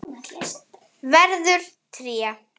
Verður tré.